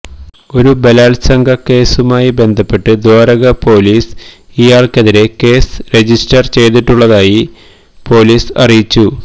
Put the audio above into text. ഒരു ബലാത്സംഗ കേസുമായി ബന്ധപ്പെട്ട് ദ്വാരക പോലീസില് ഇയാള്ക്കെതിരെ കേസ് രജിസ്റ്റര് ചെയ്തിട്ടുള്ളതായി പോലീസ് അറിയിച്ചു